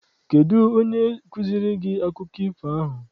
Kedụ onye kụziere gị akụkọ ifo ahụ?